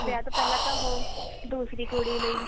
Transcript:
ਵਿਆਹ ਤੋਂ ਪਹਿਲਾਂ ਤਾਂ ਉਹ ਦੂਸਰੀ ਕੁੜੀ ਲਈ